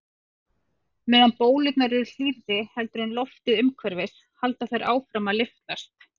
Meðan bólurnar eru hlýrri heldur en loftið umhverfis halda þær áfram að lyftast.